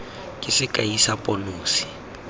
ke sekai sa pono se